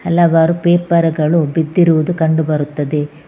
ಹಲವಾರು ಪೇಪರ್ ಗಳು ಬಿದ್ದಿರುವುದು ಕಂಡು ಬರುತ್ತದೆ.